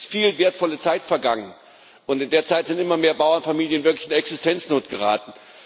Es ist viel wertvolle Zeit vergangen, und in der Zeit sind immer mehr Bauernfamilien wirklich in Existenznot geraten.